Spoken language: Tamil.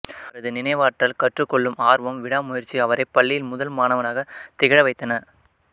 அவரது நினைவாற்றல் கற்றுக் கொள்ளும் ஆர்வம் விடா முயற்சி அவரை பள்ளியில் முதல் மாணவனாகத் திகழ வைத்தன